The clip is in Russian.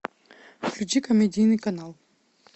включи комедийный канал